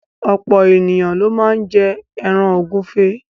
Ọ̀pọ̀ ènìyàn ló máá ń jẹ ẹran ògúnfe